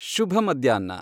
ಶುಭ ಮಧ್ಯಾಹ್ನ